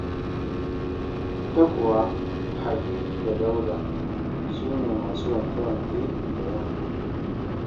Ita kuwa Habi da Dauda, su ne masu wanke-wake da yamma.